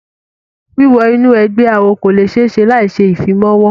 Wíwo inú ẹgbẹ́ awo kò le ṣe é ṣe láì ṣe ìfimawo.